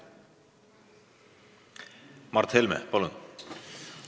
Mart Helme, palun!